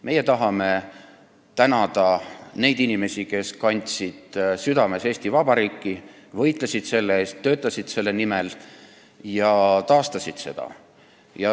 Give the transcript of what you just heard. Meie tahame tänada neid inimesi, kes kandsid südames Eesti Vabariiki, võitlesid selle eest, töötasid selle nimel ja taastasid seda.